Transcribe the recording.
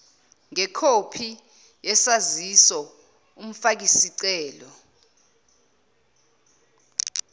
ngekhophi yesaziso umfakisieelo